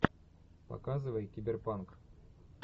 показывай киберпанк